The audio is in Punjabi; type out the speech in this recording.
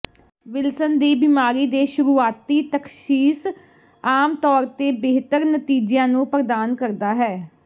ਵਿਲਸਨ ਦੀ ਬਿਮਾਰੀ ਦੇ ਸ਼ੁਰੂਆਤੀ ਤਸ਼ਖੀਸ ਆਮ ਤੌਰ ਤੇ ਬਿਹਤਰ ਨਤੀਜਿਆਂ ਨੂੰ ਪ੍ਰਦਾਨ ਕਰਦਾ ਹੈ